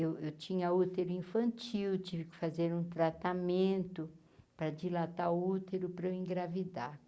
Eu eu tinha útero infantil, tive que fazer um tratamento para dilatar o útero para eu engravidar.